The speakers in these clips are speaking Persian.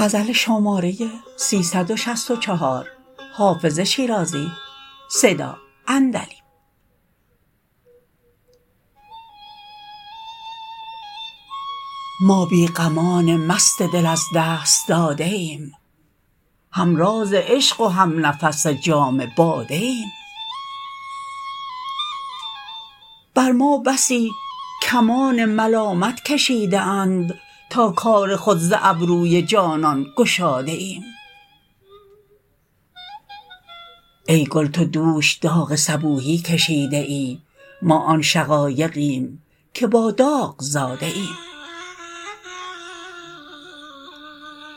ما بی غمان مست دل از دست داده ایم هم راز عشق و هم نفس جام باده ایم بر ما بسی کمان ملامت کشیده اند تا کار خود ز ابروی جانان گشاده ایم ای گل تو دوش داغ صبوحی کشیده ای ما آن شقایقیم که با داغ زاده ایم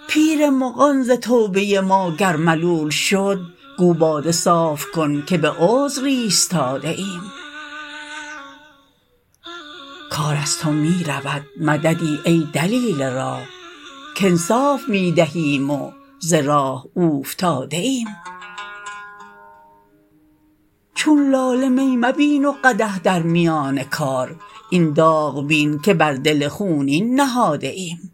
پیر مغان ز توبه ما گر ملول شد گو باده صاف کن که به عذر ایستاده ایم کار از تو می رود مددی ای دلیل راه کانصاف می دهیم و ز راه اوفتاده ایم چون لاله می مبین و قدح در میان کار این داغ بین که بر دل خونین نهاده ایم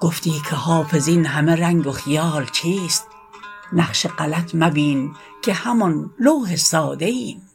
گفتی که حافظ این همه رنگ و خیال چیست نقش غلط مبین که همان لوح ساده ایم